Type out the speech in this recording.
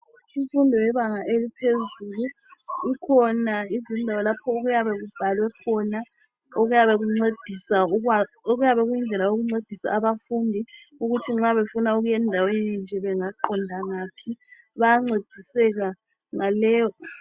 Imfundo yebanga eliphezulu, kukhona izinto lapho okuyabe kubhalwe khona ,okuyabe kuyindlela yokuncedisa abafundi ukuthi nxa befuna ukuya endaweni enje bengaqonda ngaphi. Bayancediseka ngaleyo